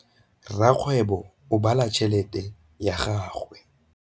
Rakgwêbô o bala tšheletê ya gagwe.